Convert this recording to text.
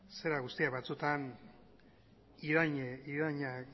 zera guztiak batzutan irainak